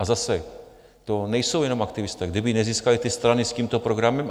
A zase, to nejsou jenom aktivisté, kdyby nezískali ty strany s tímto programem...